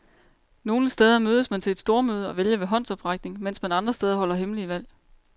Nogle steder mødes man til et stormøde og vælger ved håndsoprækning, mens man andre steder holder hemmelige valg.